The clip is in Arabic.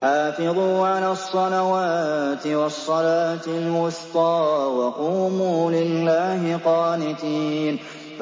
حَافِظُوا عَلَى الصَّلَوَاتِ وَالصَّلَاةِ الْوُسْطَىٰ وَقُومُوا لِلَّهِ قَانِتِينَ